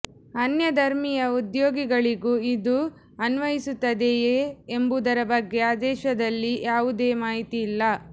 ಅನ್ಯಧರ್ಮೀಯ ಉದ್ಯೋಗಿಗಳಿಗೂ ಇದು ಅನ್ವಯಿಸುತ್ತದೆಯೇ ಎಂಬುದರ ಬಗ್ಗೆ ಆದೇಶದಲ್ಲಿ ಯಾವುದೇ ಮಾಹಿತಿ ಇಲ್ಲ